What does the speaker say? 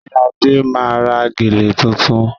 Sé Ade máa ra gèlè tuntun?